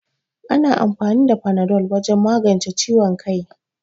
Ana amfani da fanado wajen magance ciwon kai